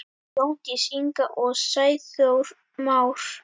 Jóndís Inga og Sæþór Már.